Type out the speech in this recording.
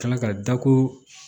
Kila ka da ko